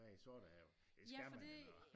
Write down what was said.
Og bade i Sortehavet det skal man jo når